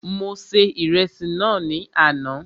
Mo se Ìrẹsì náà ní àná